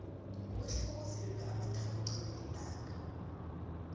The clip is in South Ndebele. kuhle ukuzilula amathambo qobe lilanga